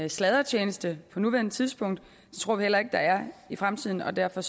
sladretjeneste på nuværende tidspunkt det tror vi heller ikke der er i fremtiden og derfor